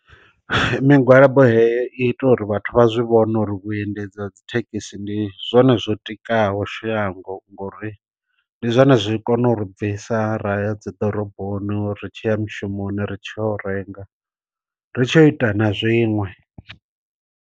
Migwalabo heyo i ita uri vhathu vha zwi vhone uri vhu endedzi dzi thekhisi ndi zwone zwo tikaho shango ngori ndi zwone zwi kone u ri bvisa ra ya dzi ḓoroboni ri tshiya mushumoni ri tsho renga ri tshi yo ita na zwiṅwe.